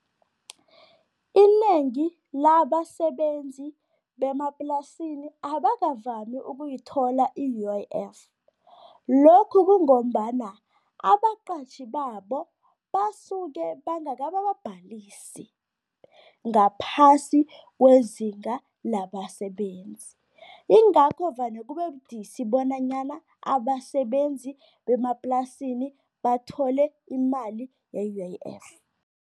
Inengi labasebenzi bemaplasini abakavami ukuyithola i-U_I_F. Lokhu kungombana abaqatjhi babo, basuke bangakababhalisi ngaphasi kweziga labasebenzi. Ingakho vane kube budisi bonanyana abasebenzi bemaplasini bathole imali ye-U_I_F.